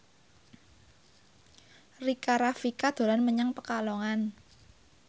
Rika Rafika dolan menyang Pekalongan